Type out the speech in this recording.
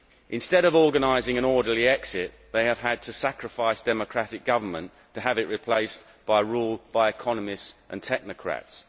Instead of organising an orderly exit, they have had to sacrifice democratic government and have it replaced by rule by economists and technocrats.